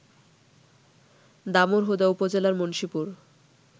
দামুড়হুদা উপজেলার মুন্সীপুর